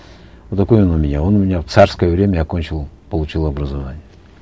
вот такой он у меня он у меня в царское время окончил получил образование